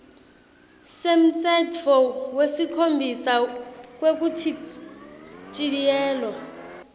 semtsetfo wesikhombisa wekuchitjiyelwa